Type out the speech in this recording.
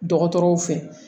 Dɔgɔtɔrɔw fɛ